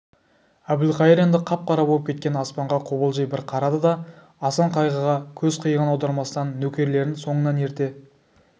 әбілқайыр енді қап-қара боп кеткен аспанға қобалжи бір қарады да асан қайғыға көз қиығын аудармастан нөкерлерін соңынан ерте